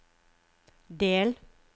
del